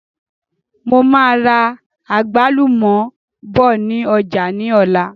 Mo máa ra àgbálùmọ̀ bọ̀ ni ọjà ni ọ̀la.